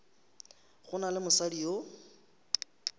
go na le mosadi yo